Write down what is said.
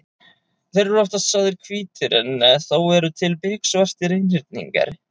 Þeir eru oftast sagðir hvítir en þó eru til biksvartir einhyrningar.